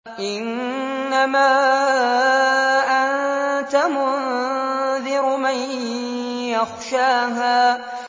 إِنَّمَا أَنتَ مُنذِرُ مَن يَخْشَاهَا